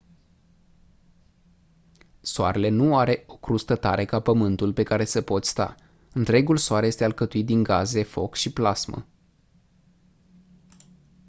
soarele nu are o crustă tare ca pământul pe care să poți sta întregul soare este alcătuit din gaze foc și plasmă